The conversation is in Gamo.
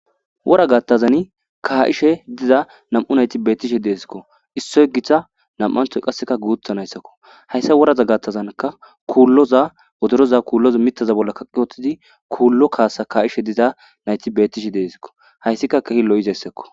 Wora gattazan kaa7ishe diza nam7u nayti beettishi deesikko issoy githa nam7anthoy qasseka guutha nayssakko hayssa woraza gattazanka kuulloza odoroza kuulloza mitaza bolla kaqiwotidi kuullo kaasa kaa7ishe diza nayti beettishi deesikko hayssika kehi lo7izayssakko.